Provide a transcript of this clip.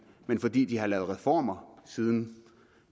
men fordi de har lavet reformer siden